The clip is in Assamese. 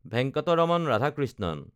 ভেংকটৰামন ৰাধাকৃষ্ণণ